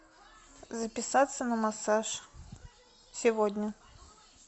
записаться на массаж сегодня